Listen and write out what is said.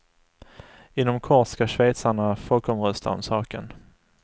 Inom kort ska schweizarna folkomrösta om saken.